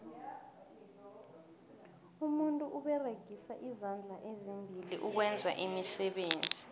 umuntu uberegisa izandla ezimbili ukwenza iimisebenzi